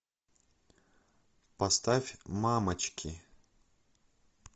поставь мамочки